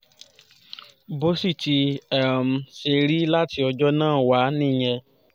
bó sì ti um ṣe rí láti ọjọ́ náà wá nìyẹn